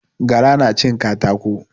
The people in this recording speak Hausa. Gara na cin katako